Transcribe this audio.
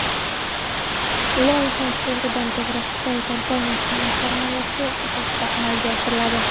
Loyiha to‘g‘ridan to‘g‘ri Xitoy kompaniyasining sarmoyasi asosida amalga oshiriladi.